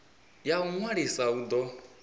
ya u ṅwalisa u do